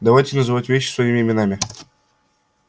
давайте называть вещи своими именами